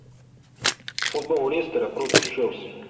футбол лестера против челси